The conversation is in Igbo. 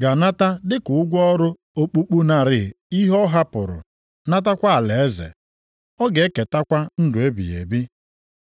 ga-anata dị ka ụgwọ ọrụ okpukpu narị ihe ọ hapụrụ, natakwa alaeze. Ọ ga-eketakwa ndụ ebighị ebi.